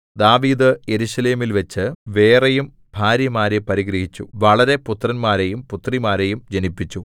ദാവീദ് യെരൂശലേമിൽവച്ച് വേറെയും ഭാര്യമാരെ പരിഗ്രഹിച്ചു വളരെ പുത്രന്മാരെയും പുത്രിമാരെയും ജനിപ്പിച്ചു